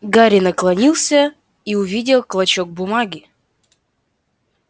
гарри наклонился и увидел клочок бумаги